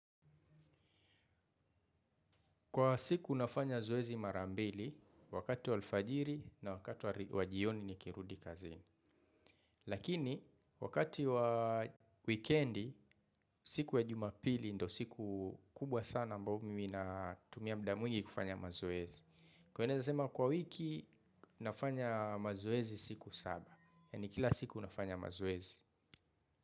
Kwa siku nafanya zoezi marambili wakati wa alfajiri na wakati wa jioni nikirudi kazini. Lakini wakati wa wikiendi siku ya jumapili ndio siku kubwa sana ambao mimi natumia muda mwingi kufanya mazoezi. Kwa wiki nafanya mazoezi siku saba. Ni kila siku nafanya mazoezi.